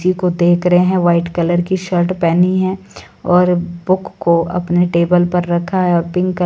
जी को देख रहे हैं व्हाईट कलर की शर्ट पहनी है और बुक को अपने टेबल पर रखा है और पिंक --